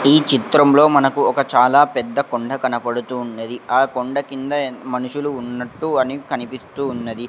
ఈ చిత్రంలో మనకు ఒక చాలా పెద్ద కొండ కనపడుతూ ఉన్నది ఆ కొండ కింద మనుషులు ఉన్నట్టు అని కనిపిస్తూ ఉన్నది.